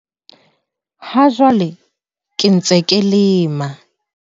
"Ha jwale ke ntse ke lema"